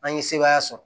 An ye sebaaya sɔrɔ